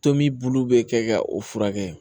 Tomi bulu bɛ kɛ ka o furakɛ